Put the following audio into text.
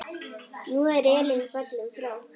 Nú er Elín fallin frá.